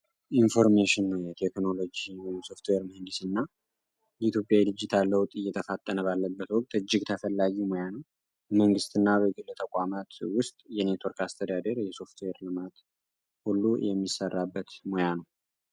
ኢንፎርሜሽን የቴክኖሎጂን ሶፍትዌር መንዲስ እና እትዮጵያ ዲጂታL ለውጥ እየተፋጠነ ባለበት ወቅት እጅግ ተፈላጊ ሙያነ መንግሥት እና በግል ተቋማት ውስጥ የኔትወርክ አስተዳድር የሶፍትዌር ልማት ሁሉ የሚሰራበት መያ ነው።